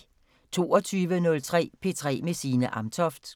22:03: P3 med Signe Amtoft